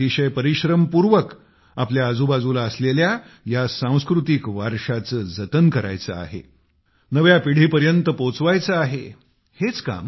आपल्याला अतिशय परिश्रमपूर्वक आपल्या आजूबाजूला असलेल्या या सांस्कृतिक वारशाचे जतन करायचे आहे नव्या पिढीपर्यंत पोचवायचे आहे